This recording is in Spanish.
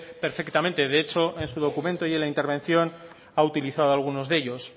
perfectamente de hecho en su documento y en la intervención ha utilizado algunos de ellos